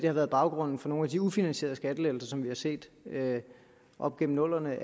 har været baggrunden for nogle af de ufinansierede skattelettelser som vi har set op gennem nullerne